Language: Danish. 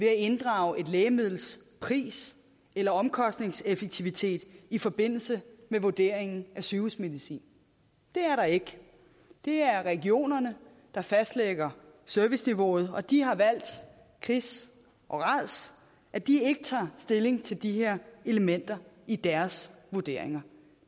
at inddrage et lægemiddels pris eller omkostningseffektivitet i forbindelse med vurderingen af sygehusmedicin det er der ikke det er regionerne der fastlægger serviceniveauet og de har valgt kris og rads at de ikke tager stilling til de her elementer i deres vurderinger